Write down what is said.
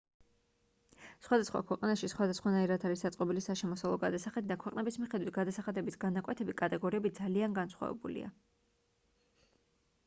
სხვადასხვა ქვეყანაში სხვადასხვანაირად არის აწყობილი საშემოსავლო გადასახადი და ქვეყნების მიხედვით გადასახადების განაკვეთები კატეგორიები ძალიან განსხვავებულია